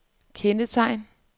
kendetegn